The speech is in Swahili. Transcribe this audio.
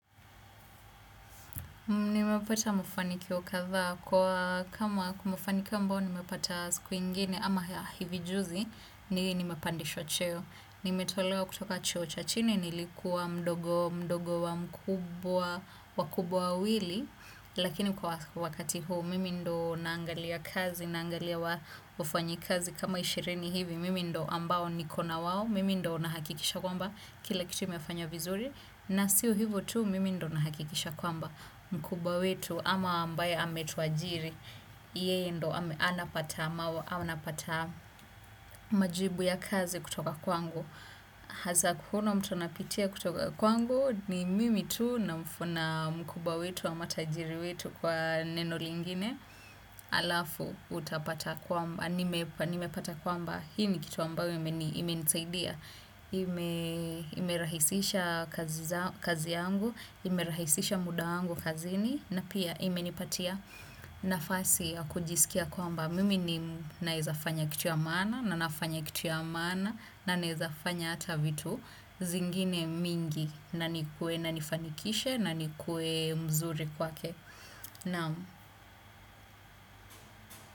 Nimepata mafanikio kadhaa kama kumefanikiwa ambayo nimepata siku ingine ama hivi juzi nimepandishwa cheo. Nimetolewa kutoka cheo cha chini nilikuwa mdogo wa mkubwa wakubwa wawili lakini kwa wakati huu mimi ndio naangalia kazi naangalia wafanyikazi kama ishirini hivi mimi ndio ambao nikona wao mimi ndio nahakikisha kwamba kila kitu imefanywa vizuri na sio hivyo tu mimi ndio nahakikisha kwamba mkubwa wetu ama ambaye ametuajiri yeye ndio anapata anapata majibu ya kazi kutoka kwangu hakuna mtu anapitia kutoka kwangu ni mimi tu na mkubwa wetu ama tajiri wetu kwa neno lingine alafu utapata kwamba, nimepata kwamba, hii ni kitu ambayo imenisaidia. Imerahisisha kazi yangu, imerahisisha muda wangu kazini, na pia imenipatia nafasi ya kujisikia kwamba mimi naweza fanya kitu ya maana na nafanya kitu ya maana. Na naweza fanya hata vitu zingine mingi na nikue na nifanikishe na nikue mzuri kwake. Naam.